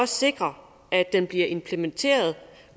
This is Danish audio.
sikre at den bliver implementeret